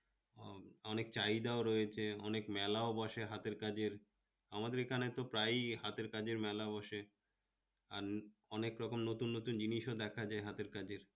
অনেক চাহিদাও রয়েছে অনেক মেলা বসে হাতের কাজের, আমাদের এখানে তো প্রায়ই হাতের কাজের মেলা বসে, আর অনেক রকম নতুন নতুন জিনিশও দেখা যায় হাতের কাজের